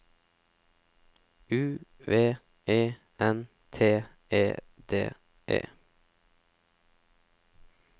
U V E N T E D E